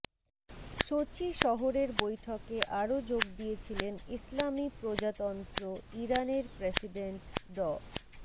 সোচি শহরের বৈঠকে আরো যোগ দিয়েছিলেন ইসলামি প্রজাতন্ত্র ইরানের প্রেসিডেন্ট ড